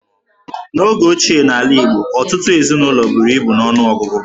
N'oge ochie n'ala Igbo, ọtụtụ ezinụlọ buru ibu n'ọnụọgụgụ.